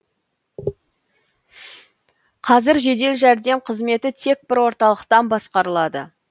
қазір жедел жәрдем қызметі тек бір орталықтан басқарылады